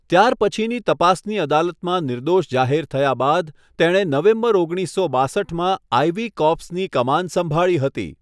ત્યારપછીની તપાસની અદાલતમાં નિર્દોષ જાહેર થયા બાદ, તેણે નવેમ્બર ઓગણીસસો બાસઠમાં આઇવી કોર્પ્સની કમાન સંભાળી હતી.